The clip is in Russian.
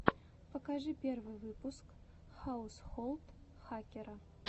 покажи первый выпуск хаусхолд хакера